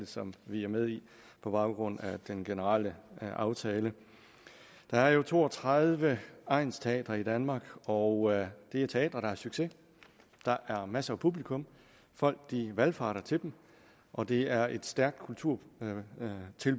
som vi er med i på baggrund af den generelle aftale der er to og tredive egnsteatre i danmark og det er teatre der har succes der er masser af publikum folk valfarter til dem og det er et stærkt kulturtilbud